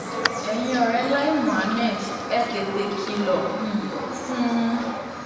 ẹ̀yin ọ̀rẹ́ lai muhammed ẹ tètè kìlọ̀ um fún un